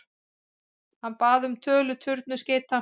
Hann bað um tölu tundurskeyta.